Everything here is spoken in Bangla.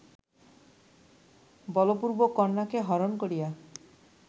বলপূর্বক কন্যাকে হরণ করিয়া